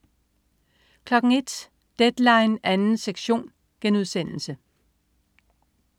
01.00 Deadline 2. sektion*